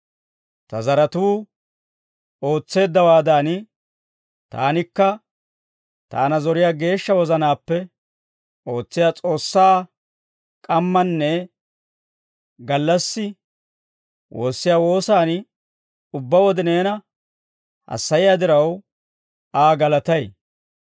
Ta zaratuu ootseeddawaadan, taanikka taana zoriyaa geeshsha wozanaappe ootsiyaa S'oossaa k'ammanne gallassi woossiyaa woosaan ubbaa wode neena hassayiyaa diraw, Aa galatay.